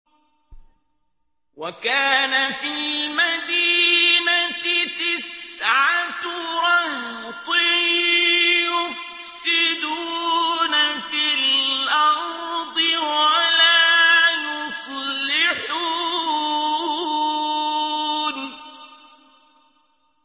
وَكَانَ فِي الْمَدِينَةِ تِسْعَةُ رَهْطٍ يُفْسِدُونَ فِي الْأَرْضِ وَلَا يُصْلِحُونَ